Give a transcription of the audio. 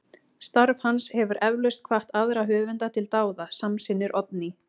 Starf hans hefur eflaust hvatt aðra höfunda til dáða, samsinnir Oddný.